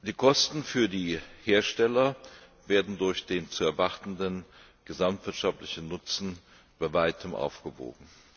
Die Kosten für die Hersteller werden durch den zu erwartenden gesamtwirtschaftlichen Nutzen bei weitem aufgewogen.